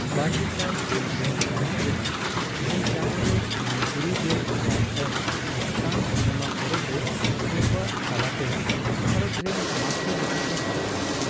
ᱵᱟᱨᱜᱮᱥᱟᱭ ᱜᱮᱞ ᱯᱩᱱ ᱥᱟᱦᱤᱛ ᱨᱮᱱᱟᱜ ᱢᱮ ᱪᱟᱸᱫᱳᱨᱮ ᱩᱱᱤ ᱛᱩᱨᱩᱭᱜᱮᱞ ᱮᱭᱟᱭ ᱟᱱ ᱠᱟᱱ ᱥᱤᱱᱮᱢᱟ ᱯᱚᱨᱚᱵᱽᱨᱮ ᱥᱮᱨᱣᱟ ᱛᱟᱞᱟᱛᱮ ᱵᱷᱟᱨᱚᱛ ᱨᱮᱱ ᱢᱟᱬᱛᱮ ᱞᱮᱠᱟᱛᱮ ᱵᱟᱦᱟᱞ ᱮᱱᱟ ᱾